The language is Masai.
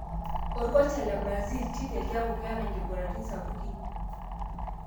Orkocha le Brazil Tite:''kiaku keta nkigularitin sapukin.